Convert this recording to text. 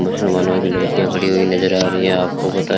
मुसलमानों की लड़कियां खड़ी हुई नजर आ रही हैं आपको बता--